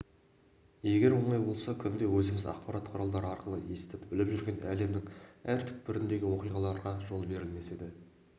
егер оңай болса күнде өзіміз ақпарат құралдары арқылы естіп-біліп жүрген әлемнің әр түкпіріндегі оқиғаларға жол берілмес еді